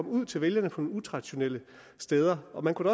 ud til vælgerne nogle utraditionelle steder og vi kunne